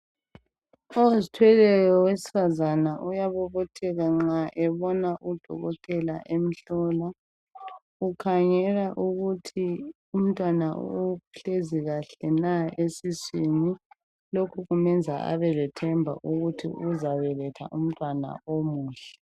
Ozithweleyo wesifazana uyabobotheka nxa ebona udokotela emhlola. Ukhangela ukuthi umntwana uhlezi kahle na esiswini. Lokhu kumenza abelethemba lokuthi uzabeletha umntwana omuhle.